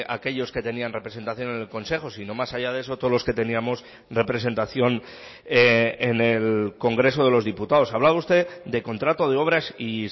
aquellos que tenían representación en el consejo sino más allá de eso todos los que teníamos representación en el congreso de los diputados hablaba usted de contrato de obras y